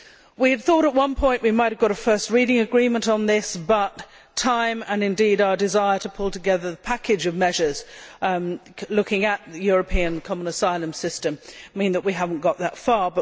We thought at one point we might have got a first reading agreement on this, but time and, indeed, our desire to pull together the package of measures looking at the European common asylum system mean that we have not got that far.